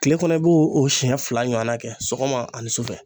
Kile kɔnɔ i b'o o siɲɛ fila ɲɔana kɛ sɔgɔma ani sufɛ